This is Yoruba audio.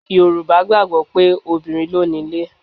Yorùbá gbàgbọ́ pé obìnrin ló nílé.